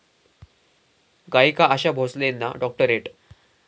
गायिका आशा भोसलेंना डॉक्टरेट